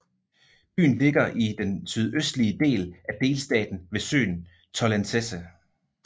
Byen ligger i den sydøstlige del af delstaten ved søen Tollensesee